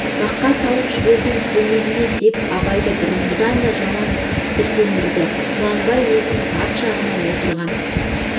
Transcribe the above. бақа салып жібердім көйлегіңе деп абайды бұрынғыдан да жаман тітіркендірді құнанбай өзінің арт жағында отырған